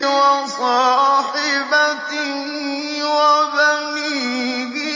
وَصَاحِبَتِهِ وَبَنِيهِ